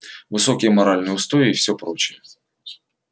высокие моральные устои и всё прочее